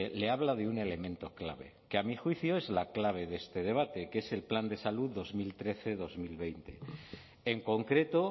le habla de un elemento clave que a mi juicio es la clave de este debate que es el plan de salud dos mil trece dos mil veinte en concreto